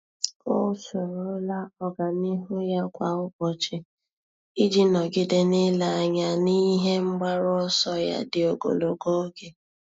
Ọ́ soro la ọ́gànihu ya kwa ụ́bọ̀chị̀ iji nọ́gídé n’ílé anya n’ihe mgbaru ọsọ ya dị ogologo oge.